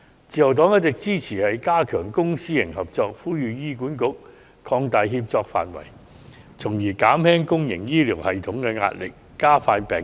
自由黨一直支持加強公私營合作，呼籲醫管局擴大協作範圍，從而減輕公營醫療系統的壓力，加快治療病人。